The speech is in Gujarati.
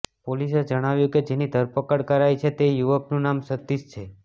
પોલીસે જણાવ્યું કે જેની ધરપકડ કરાઈ છે તે યુવકનું નામ સતીશ છે